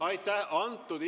Aitäh!